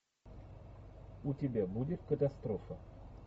у тебя будет катастрофа